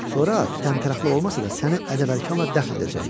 Sonra təmtəraqlı olmasa da səni ədəbərkanla dəfn edəcəklər.